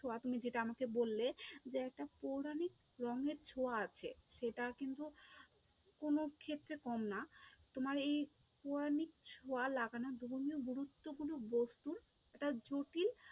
ছোঁয়া যেটা তুমি আমাকে বললে যে একটা পৌরাণিক রঙের ছোঁয়া আছে, সেটা কিন্তু কোনো ক্ষেত্রে কম না, তোমার এই পৌরাণিক ছোঁয়া লাগা গুরুত্বপূর্ণ একটা জটিল